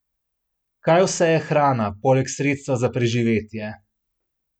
Kaj vse je hrana, poleg sredstva za preživetje?